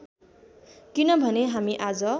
किनभने हामी आज